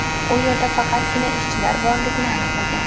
u yerda faqatgina ishchilar borligini aniqlagan.